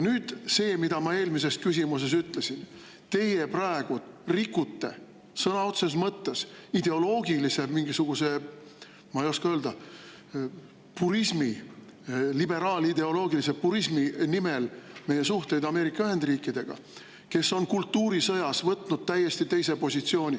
Nüüd see, mida ma eelmises küsimuses ütlesin: teie praegu rikute sõna otseses mõttes ideoloogilise mingisuguse, ma ei oska öelda, purismi, liberaalideoloogilise purismi nimel meie suhteid Ameerika Ühendriikidega, kes on kultuurisõjas võtnud täiesti teise positsiooni.